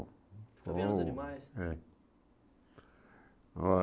Está vendo os animais? É o